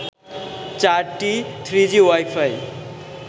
চারটি three G wifi